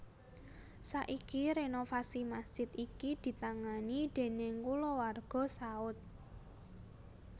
Saiki renovasi masjid iki ditangani déning kulawarga Saud